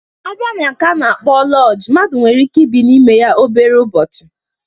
Abịa na nke a na-akpọ lọjii, mmadụ nwere ike ibi n'ime ya obere ụbọchị